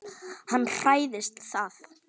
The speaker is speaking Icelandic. Hann hræðist það.